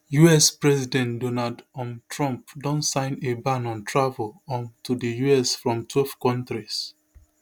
us president donald um trump don sign a ban on travel um to di us from twelve kontris